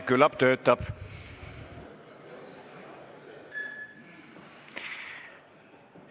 Küllap töötab.